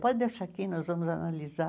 Pode deixar aqui, nós vamos analisar.